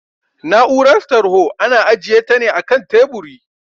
Na'urar tarho ana ajiyeta ne akan teburi